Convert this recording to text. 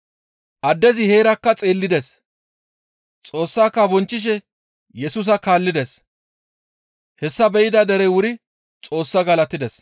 Addezi heerakka xeellides; Xoossaaka bonchchishe Yesusa kaallides; hessa be7ida derey wuri Xoossaa galatides.